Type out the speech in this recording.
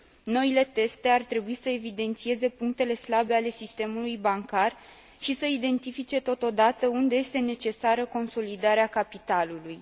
Noile teste ar trebui să evidențieze punctele slabe ale sistemului bancar și să identifice totodată unde este necesară consolidarea capitalului.